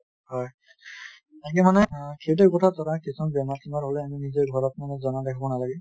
হয় তাকে মানে অহ সেইটো কথাত ধৰা কিছুমান বেমাৰ চেমাৰ আমি নিজৰ ঘৰত আমি জমা ৰাখিব নালাগে